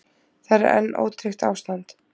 Þar er enn ótryggt ástand.